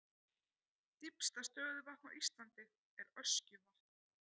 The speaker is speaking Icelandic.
Dýpsta stöðuvatn á Íslandi er Öskjuvatn.